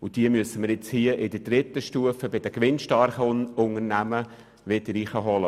Diese müssen wir nun in der dritten Stufe, bei den gewinnstarken Unternehmen wieder hereinholen.